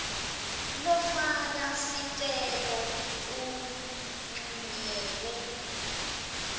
lofaka sicelo uncunyelwe